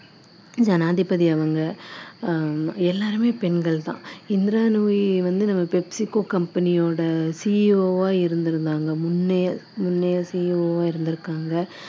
ஜனாதிபதி அவங்க அஹ் எல்லாருமே பெண்கள் தான் இந்திரா நூயி வந்து நம்ம pepsico company யோட CEO ஆ இருந்திருந்தாங்க முன்னையே முன்னையே CEO ஆ இருந்திருக்காங்க